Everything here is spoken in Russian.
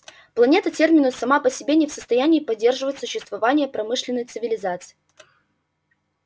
планета терминус сама по себе не в состоянии поддерживать существование промышленной цивилизации